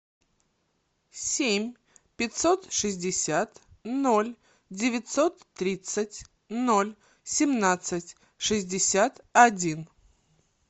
семь пятьсот шестьдесят ноль девятьсот тридцать ноль семнадцать шестьдесят один